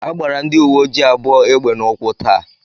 A gbara ndị uwe ojii abụọ egbe n'ụkwụ tàà